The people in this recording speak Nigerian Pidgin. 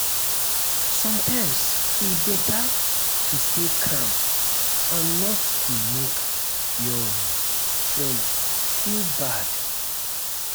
sometimes e better to stay calm and not not make your um friend feel um bad.